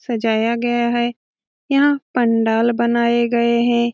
सजाया गया है। यहाँ पंडाल बनाए गए है।